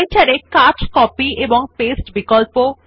Writer এ cut copy এবং paste বিকল্প